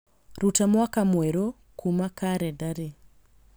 rũta mwaka mwerũ kuuma kalendarĩ